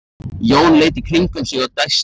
Jón leit í kringum sig og dæsti.